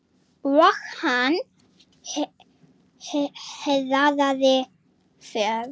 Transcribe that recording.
Og hann hraðaði för.